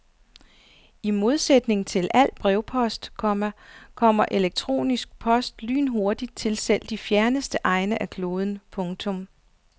I modsætning til almindelig brevpost, komma kommer elektronisk post lynhurtigt ud til selv de fjerneste egne af kloden. punktum